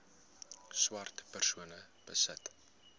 swart persone besit